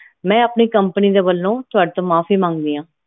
ਮੈਂ ਆਪਣੀ company ਦੇ ਵੱਲੋਂ ਤੁਹਾਡੇ ਤੋਂ ਮਾਫੀ ਮੰਗਦੀ ਆ